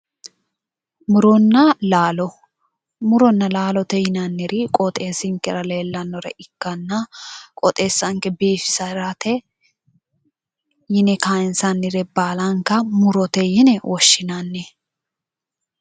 Muronna laalo muronna laalo yinanniri qooxeessinkera leellannore ikkanna qooxeessanke biifisirate yine kaansannire baalanka murote yine woshshinanni.